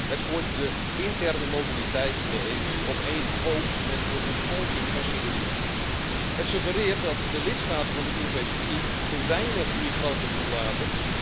Het gooit de interne mobiliteit in de EU op één hoop met de ontvolking van Syrië en het suggereert dat de lidstaten van de Europese Unie te weinig migranten toelaten.